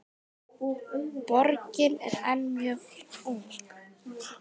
Borgin er enn mjög ung.